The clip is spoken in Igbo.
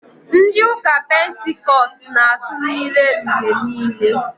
Ndị ụka Pentikọst na- asụ n'ire mgbe niile.